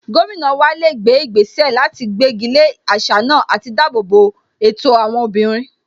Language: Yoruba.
Gómìnà wa lè gbé ìgbésẹ̀ láti gbégi lé àṣà náà àti dáàbò bo ẹ̀tọ́ àwọn obìnrin